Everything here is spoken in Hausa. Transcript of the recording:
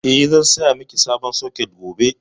Eh, zan saya miki sabon soket gobe.